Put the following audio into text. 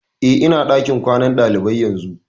Eh, ina ɗakin kwanan ɗalibai yanzu